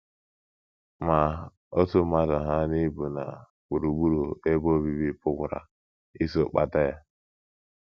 Ma otú mmadụ hà n’ibu na gburugburu ebe obibi pụkwara iso kpata ya.